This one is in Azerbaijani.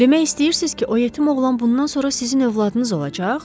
Demək istəyirsiz ki, o yetim oğlan bundan sonra sizin övladınız olacaq?